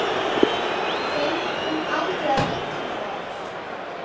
Fengum aldrei að vita það.